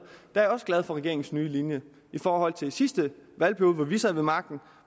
er jeg også glad for regeringens nye linje i forhold til sidste valgperiode hvor vi sad ved magten